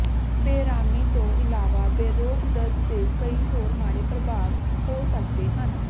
ਬੇਅਰਾਮੀ ਤੋਂ ਇਲਾਵਾ ਬੇਰੋਕ ਦਰਦ ਦੇ ਕਈ ਹੋਰ ਮਾੜੇ ਪ੍ਰਭਾਵ ਹੋ ਸਕਦੇ ਹਨ